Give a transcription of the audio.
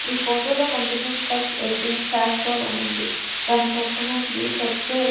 ఈ ఫోటోలో కనిపిస్తున్న ఫస్ట్ ఎడిటింగ్ క్యాస్ట్రోల్ అని ఉంది దాని పక్కన శ్రీ సత్య.